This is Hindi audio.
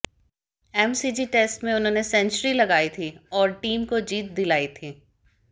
एमसीजी टेस्ट में उन्होंने सेंचुरी लगाई थी और टीम को जीत दिलाई थी